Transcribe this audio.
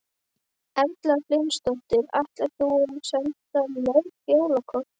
Erla Hlynsdóttir: Ætlar þú að senda mörg jólakort?